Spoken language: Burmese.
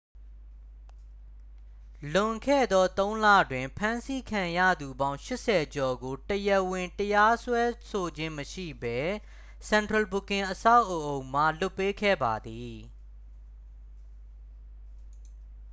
လွန်ခဲ့သော 3 လတွင် ဖမ်းဆီးခံရသူပေါင်း 80 ကျော်ကို တရားဝင်တရားစွဲဆိုခြင်းမရှိဘဲ central booking အဆောက်အအုံမှ လွှတ်ပေးခဲ့ပါသည်